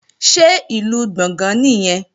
Ṣé Ìlú Gbọ̀ngán nìyẹn?